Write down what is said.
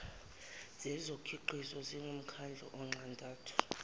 sezokhiqizo singumkhandlu onxantathu